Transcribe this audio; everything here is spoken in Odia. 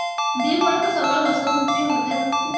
ଦି ଭଉଣୀଙ୍କ ସବୁବେଳେ ହସଖୁସି ମଜାମସ୍ତି